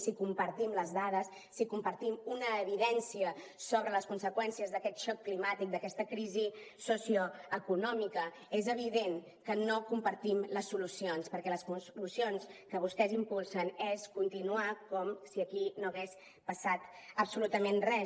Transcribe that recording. si compartim les dades si compartim una evidència sobre les conseqüències d’aquest xoc climàtic d’aquesta crisi socioeconòmica és evident que no compartim les solucions perquè les solucions que vostès impulsen és continuar com si aquí no hagués passat absolutament res